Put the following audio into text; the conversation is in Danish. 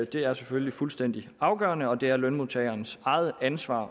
det er selvfølgelig fuldstændig afgørende og det er lønmodtagerens eget ansvar